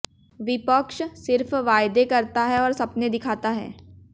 विपक्ष सिर्फ वायदे करता है और सपने दिखाता है